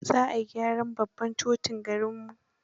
za ayi gyaran tsohon babban totin garinmu.